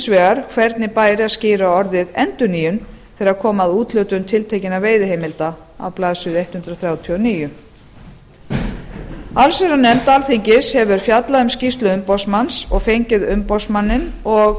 vegar hvernig bæri að skýra orðið endurnýjun þegar kom að úthlutun tiltekinna veiðiheimilda á blaðsíðu hundrað þrjátíu og níu allsherjarnefnd alþingis hefur fjallað um skýrslu umboðsmann og fengið umboðsmanninn og